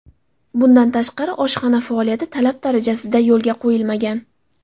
Bundan tashqari, oshxona faoliyati talab darajasida yo‘lga qo‘yilmagan.